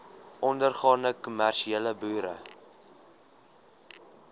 ondergaande kommersiële boere